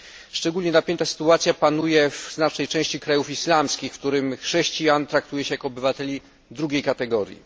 Szczególnie napięta sytuacja panuje w znacznej części krajów islamskich, w których chrześcijan traktuje się jako obywateli drugiej kategorii.